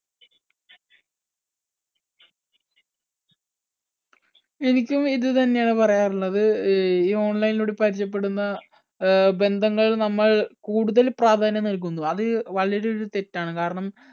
എനിക്കും ഇതുതന്നെയാണ് പറയാനുള്ളത് ഈ online ലൂടെ പരിചയപ്പെടുന്ന ബന്ധങ്ങൾ നമ്മൾ കൂടുതൽ പ്രാധാന്യം നൽകുന്നു അത് വളരെ ഒരു തെറ്റാണ് കാരണം